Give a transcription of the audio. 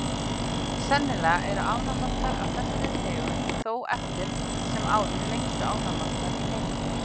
Sennilega eru ánamaðkar af þessari tegund þó eftir sem áður lengstu ánamaðkar í heimi.